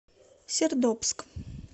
сердобск